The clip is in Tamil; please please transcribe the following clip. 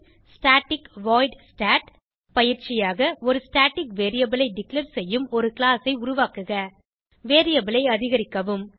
ஸ்டாட்டிக் வாய்ட் stat பயிற்சியாக ஒரு ஸ்டாட்டிக் variableஐ டிக்ளேர் செய்யும் ஒரு கிளாஸ் ஐ உருவாக்குக வேரியபிள் ஐ அதிகரிக்கவும்